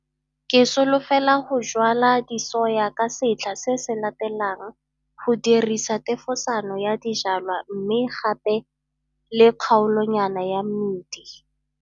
Ke solofela go jwala disoya ka setlha se se latelang go dirisa thefosano ya dijwalwa mme gape le kgaolonyana ya mmidi.